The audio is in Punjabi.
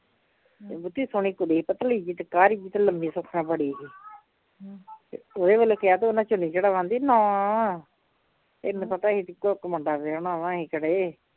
ਬਹੁਤੀ ਸੋਹਣੀ ਕੁੜੀ ਪਤਲੀ ਜਿਹੀ ਤੇ ਤੇ ਲੰਮੀ ਸੁੱਖ ਨਾ ਬੜੀ ਹੀ ਤੇ ਉਹਦੇ ਵੱਲੋਂ ਕਿਹਾ ਤੇ ਉਹਨਾ ਚੁੰਨੀ ਚੜ੍ਹ ਆਂਦੀ ਨੀ ਨਾ, ਅਸੀਂ ਤਾਂ ਮਸਾਂ ਇੱਕੋ ਇੱਕ ਮੁੰਡਾ ਵਿਆਹੁਣਾ ਵਾ ਅਸੀਨ ਕਿਤੇ